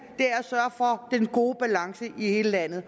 og for den gode balance i hele landet